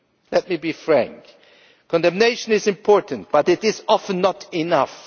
Let me be frank condemnation is important but it is often not enough.